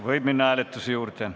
Võime minna hääletuse juurde.